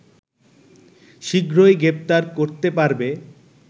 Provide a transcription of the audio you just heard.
শীঘ্রই গ্রেফতার করতে পারবে